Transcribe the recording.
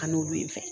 Kan'olu fɛ